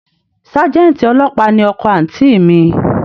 Sájẹ́ǹtì ọlọ́pàá ni ọkọ àǹtí i mi